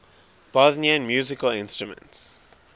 bosnian musical instruments